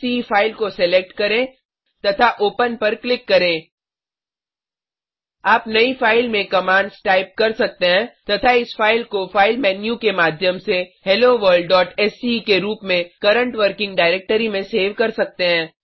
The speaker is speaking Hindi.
helloworldसीई फाइल को सेलेक्ट करें तथा ओपन पर क्लिक करें आप नयी फाइल में कमांड्स टाइप कर सकते हैं तथा इस फाइल को फाइल मेन्यू के माध्यम से helloworldसीई के रूप में करंट वर्किंग डायरेक्टरी में सेव कर सकते हैं